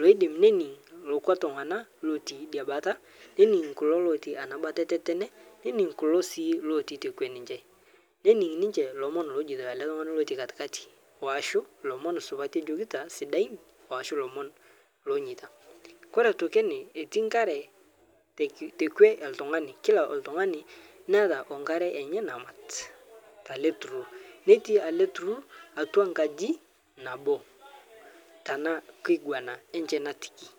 loidim nening' lokwa tung'ana lotii dia bata nening' kulo lotii ana bata etetene nening' kulo sii lotii tekwe ninche nening' ninche lomon lojeito ale tung'ani lotii katikati oashu lomon supati ejokita sidain oashu lomon loonyeita. Kore atoki ene etii nkare teki tekwe oltung'ani kila oltung'ani neata onkare enye namat ntale tururr netii ale tururr atwa nkaji nabo tana kiguana enche natikii.